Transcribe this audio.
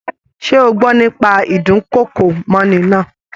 Ṣe o gbọ́ nípa ídùnkokò mọ́'ni náà?